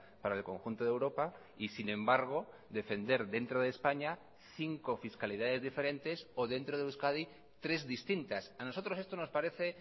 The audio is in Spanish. para el conjunto de europa y sin embargo defender dentro de españa cinco fiscalidades diferentes o dentro de euskadi tres distintas a nosotros esto nos parece